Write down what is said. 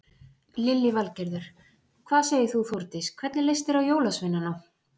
Lillý Valgerður: Hvað segir þú Þórdís, hvernig leist þér á jólasveinana?